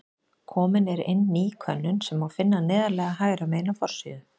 Komin er inn ný könnun sem má finna neðarlega hægra megin á forsíðu.